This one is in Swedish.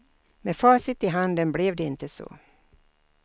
Med facit i handen blev det inte så.